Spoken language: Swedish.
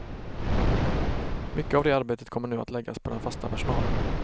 Mycket av det arbetet kommer nu att läggas på den fasta personalen.